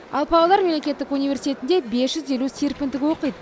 ал павлодар мемлекеттік университетінде бес жүз елу серпіндік оқиды